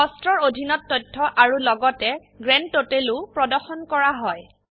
কষ্টছ এৰ অধীনত তথ্য আৰু লগতে গ্ৰান্ডটোটেলও প্ৰদৰ্শন কৰা হয়